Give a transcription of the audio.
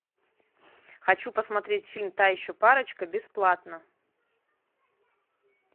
хочу посмотреть фильм та еще парочка бесплатно